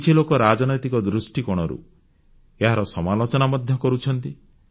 କିଛି ଲୋକ ରାଜନୈତିକ ଦୃଷ୍ଟିକୋଣରୁ ଏହାର ସମାଲୋଚନା ମଧ୍ୟ କରୁଛନ୍ତି